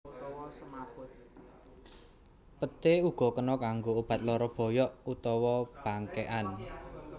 Peté uga kena kanggo obat lara boyok utawa bangkékan